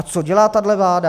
A co dělá tahle vláda?